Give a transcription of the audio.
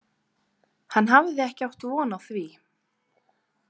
Hann hafði ekki átt von á því.